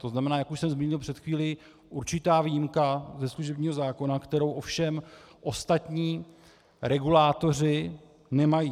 To znamená, jak už jsem zmínil před chvílí, určitá výjimka ze služebního zákona, kterou ovšem ostatní regulátoři nemají.